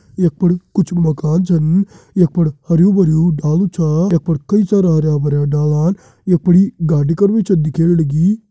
यख फण कुछ मकान छन यख फण हरयूं भरयूं डालु छ यख पर कई सारा हरयां भरयां डालान यखी फणि गाड़ी कर भी छ दिखेण लगीं।